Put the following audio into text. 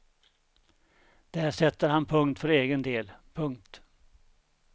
Där sätter han punkt för egen del. punkt